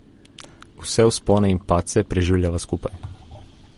Vse vzpone in padce preživljava skupaj.